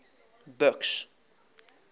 buks